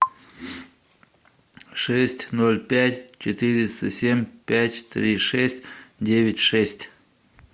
шесть ноль пять четыреста семь пять три шесть девять шесть